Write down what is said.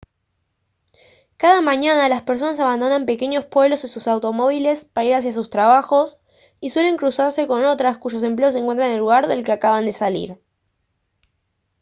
cada mañana las personas abandonan pequeños pueblos en sus automóviles para ir hacia sus trabajos y suelen cruzarse con otras cuyos empleos se encuentran en el lugar del que acaban de salir